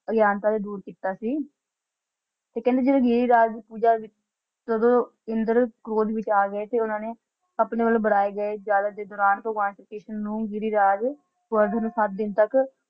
ਅਗਿਆਨਤਾ ਤੋਂ ਦੂਰ ਕਿੱਤਾ ਸੀ। ਤੇ ਕਹਿੰਦੇ ਜੇ ਇਹ ਰਾਜ ਪੂਜਾ ਜਦੋ ਇੰਦਰ ਕ੍ਰੋਧ ਵਿਚ ਗ਼ਏ ਸੀ ਉੰਨਾ ਨੇ ਆਪਣੇ ਵੱਲੋ ਬਣਾਏ ਗਏ ਦੇ ਦੌਰਾਨ ਸ਼੍ਰੀ ਕ੍ਰਿਸ਼ਨ ਨੂੰ ਗਿਰੀਰਾਜ ਸਤਿ ਦਿਨ ਤਕ